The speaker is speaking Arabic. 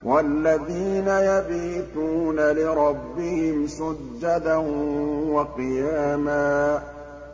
وَالَّذِينَ يَبِيتُونَ لِرَبِّهِمْ سُجَّدًا وَقِيَامًا